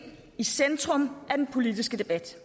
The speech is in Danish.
i centrum af den politiske debat